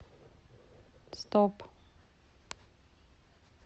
стоп